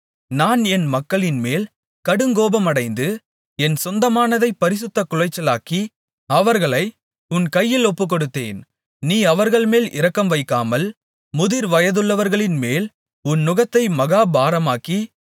நான் என் மக்களின்மேல் கடுங்கோபமடைந்து என் சொந்தமானதைப் பரிசுத்தக் குலைச்சலாக்கி அவர்களை உன் கையில் ஒப்புக்கொடுத்தேன் நீ அவர்கள்மேல் இரக்கம்வைக்காமல் முதிர்வயதுள்ளவர்களின்மேல் உன் நுகத்தை மகா பாரமாக்கி